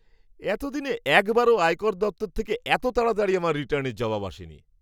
এতদিনে একবারও আয়কর দপ্তর থেকে এত তাড়াতাড়ি আমার রিটার্নের জবাব আসেনি!